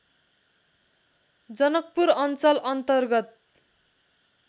जनकपुर अञ्चल अन्तर्गत